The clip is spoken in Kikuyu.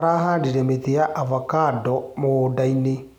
Arahandire mĩtĩ ya avocando mũgũndainĩ.